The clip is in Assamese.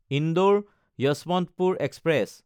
ইন্দোৰ–যশৱন্তপুৰ এক্সপ্ৰেছ